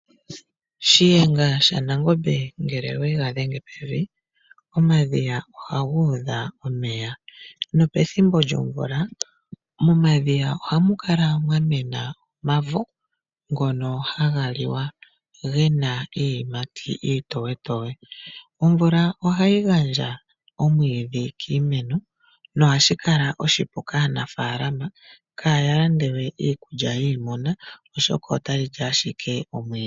Shiyenga shaNangombe ngele ega dhenge pevi yadhiginina omadhiya ohaga udha omeya nopethimbo lyomvula momadhiya ohamu kala mwamena omavo ngoka haga liwa gena iiyimati iitoyetoye. Omvula ohayi gandja omwiidhi kiinamwenyo no ohashi kala oshipu kaanafalama opo kaa yalande we iikulya yiinamwenyo oshoka otayi li owala omwiidhi.